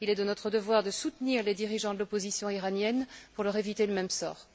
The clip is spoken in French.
Il est de notre devoir de soutenir les dirigeants de l'opposition iranienne pour leur éviter le même sort.